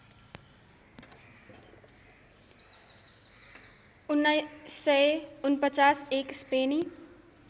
१९४९ एक स्पेनी